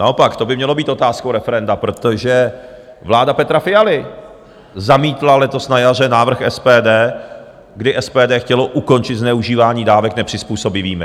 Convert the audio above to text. Naopak by to mělo být otázkou referenda, protože vláda Petra Fialy zamítla letos na jaře návrh SPD, kdy SPD chtělo ukončit zneužívání dávek nepřizpůsobivými.